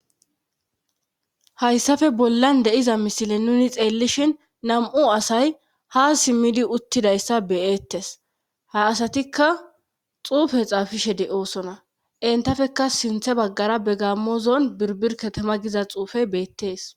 hayssafe bollan de'iza misile nuni xeellishin nam7u asay ha simmidi uttidayssa beyeettes ha asatikka xuufe xaafishe de7oosona entafeka sinthe baggara be gammozon birbirkatama giza xuufey beettees